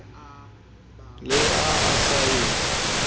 le ha a sa e